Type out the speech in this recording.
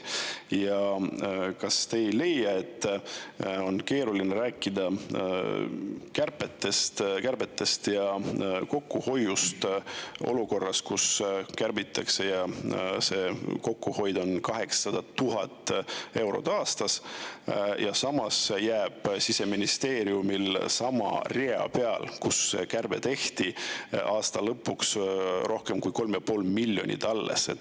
Ja kas te ei leia, et on keeruline rääkida kärbetest ja kokkuhoiust olukorras, kus kärbitakse, ning see kokkuhoid on 800 000 eurot aastas, aga samas jääb Siseministeeriumil sama rea peal, kus kärbe tehti, aasta lõpuks rohkem kui 3,5 miljonit alles?